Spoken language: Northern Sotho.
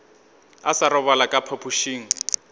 a sa robala ka phapošing